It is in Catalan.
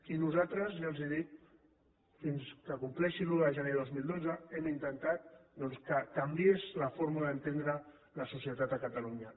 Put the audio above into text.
i nosaltres ja els ho dic fins que compleixi l’un de gener de dos mil dotze hem intentat que canviés la forma d’entendre la societat a catalunya